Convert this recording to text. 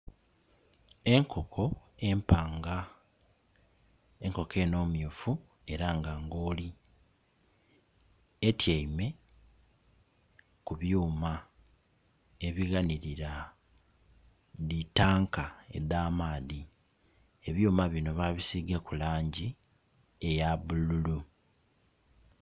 Enkoko empanga enkoko eno myufu era nga ngooli, etyaime ku byuma ebighanirila dhi tanka edha maadhi. Ebyuma bino babisigaku langi eya bululu.